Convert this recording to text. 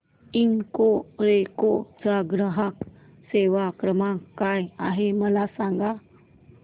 Ecoreco चा ग्राहक सेवा क्रमांक काय आहे मला सांग